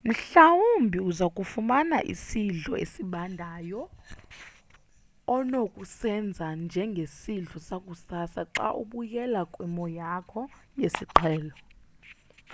mhlambi uzakufumana isidlo esibandayo onokusenza njengesidlo sakusasa xa ubuyele kwimo yakho yesiqhelo